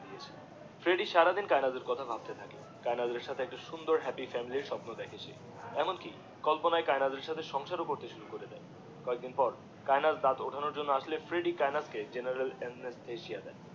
Freddy সারাদিন কায়েনাথের কথা ভাবতে থাকে কায়েনাথের সাথে একটা সুন্দর হ্যাপি ফ্যামিলির স্বপ্ন দেখে সে এমন কি কল্পনায় কায়েনাথের সাথে সংসার করতে শুরু করে দিয়ে যেদিন পর কায়েনাথ ডাঠ ওঠানোর জন্যে আসতে ফ্রেড্ডি কায়েনাথে কে দিয়ে